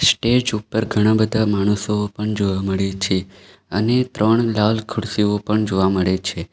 Stage ઉપર ઘણા બધા માણસો પણ જોવા મળે છે અને ત્રણ લાલ ખુરશીઓ પણ જોવા મળે છે.